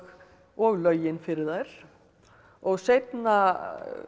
og lögin fyrir þær og seinna